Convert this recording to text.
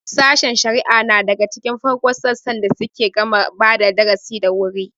Sashen shari'a nal daga cikin farkon sassan da suke gama badap darasi da wuri.